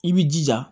I b'i jija